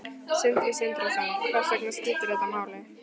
Sindri Sindrason: Hvers vegna skipti þetta máli?